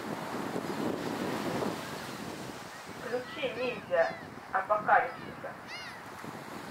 включи ниндзя апокалипсиса